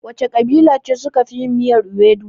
Wace ƙabila suka fi yin miyar iwedu?